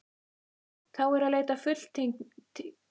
Þá er að leita fulltingis keisarans, sagði Jón Arason.